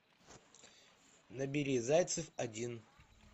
набери зайцев один